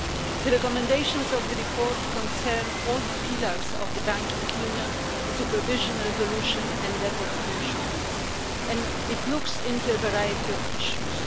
The recommendations of the report concern all the pillars of the Banking Union, the supervision resolution and deposit insurance, and it looks into a variety of issues.